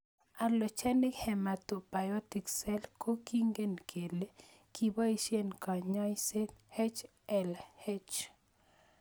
Allogeneic hematopoietic cell ko kingen kele kipoishe kenyaishe HLH